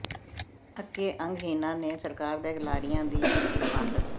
ਅੱਕੇ ਅੰਗਹੀਣਾਂ ਨੇ ਸਰਕਾਰ ਦੇ ਲਾਰਿਆਂ ਦੀ ਫੂਕੀ ਪੰਡ